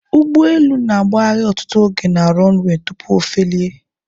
Ugbọelu na agbahari ọtụtụ oge na 'runaway' tupu ofelie